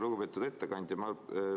Lugupeetud ettekandja!